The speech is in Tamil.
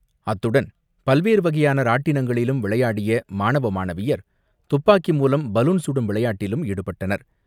அத்துடன், பல்வேறு வகையான ராட்டினங்களிலும் விளையாடிய மாணவ மாணவியர் துப்பாக்கி மூலம் பலூன் சுடும் விளையாட்டிலும் ஈடுபட்டனர்.